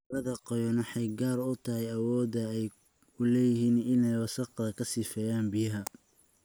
Carrada qoyan waxay gaar u tahay awoodda ay u leeyihiin inay wasakhaha ka sifeeyaan biyaha.